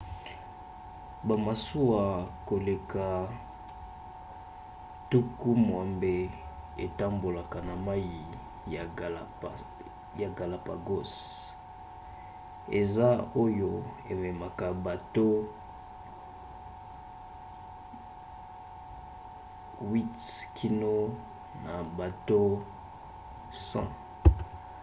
bamasuwa koleka 60 etambolaka na mai ya galapagos - eza oyo ememaka bato 8 kino na bato 100